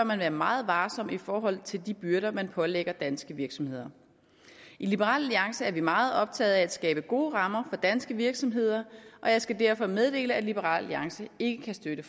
man være meget varsom i forhold til de byrder man pålægger danske virksomheder i liberal alliance er vi meget optaget af at skabe gode rammer for danske virksomheder og jeg skal derfor meddele at liberal alliance ikke kan støtte